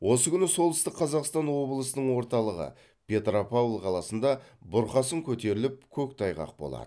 осы күні солтүстік қазақстан облысының орталығы петропавл қаласында бұрқасын көтеріліп көктайғақ болады